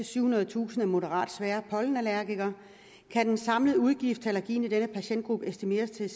syvhundredetusind er moderate til svære pollenallergikere kan den samlede udgift til allergien i denne patientgruppe estimeres til